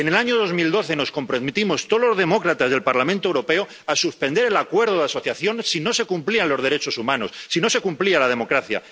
En el año 2012 nos comprometimos todos los demócratas del Parlamento Europeo a suspender el Acuerdo de Asociación si no se cumplían los derechos humanos, si no se cumplía la democracia.